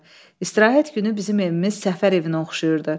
İstirahət günü bizim evimiz səfər evinə oxşayırdı.